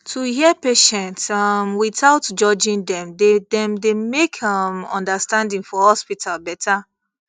to hear patients um without judging dem dey dem dey make um understanding for hospital better